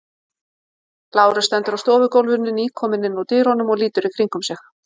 Lárus stendur á stofugólfinu, nýkominn inn úr dyrunum og lítur í kringum sig.